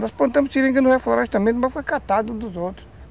Nós plantamos seringas no reflorestamento também, mas foi catado um dos outros.